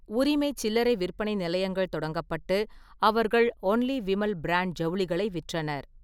உரிமை சில்லறை விற்பனை நிலையங்கள் தொடங்கப்பட்டு அவர்கள் "ஒன்லி விமல்" பிராண்ட் ஜவுளிகளை விற்றனர்.